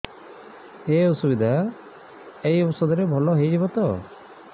ଏଇ ଅସୁବିଧା ଏଇ ଔଷଧ ରେ ଭଲ ହେଇଯିବ ତ